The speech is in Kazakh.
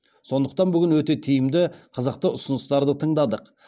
сондықтан бүгін өте тиімді қызықты ұсыныстарды тыңдадық